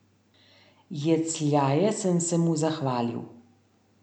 Jecljaje sem se mu zahvalil.